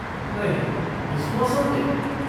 नहीं, इस मौसम में?